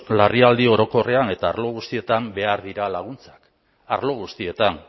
larrialdi orokorrean eta arlo guztietan behar dira laguntzak arlo guztietan